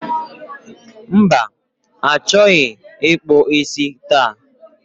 Mba, achọghị ịkpụ isi taa